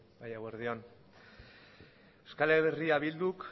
bai eguerdi on euskal herria bilduk